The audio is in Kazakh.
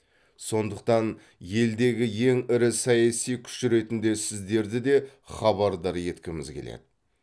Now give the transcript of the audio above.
сондықтан елдегі ең ірі саяси күш ретінде сіздерді де хабардар еткіміз келеді